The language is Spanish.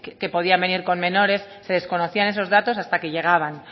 que podían venir con menores se desconocían esos datos hasta que llegaban